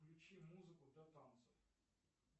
включи музыку для танцев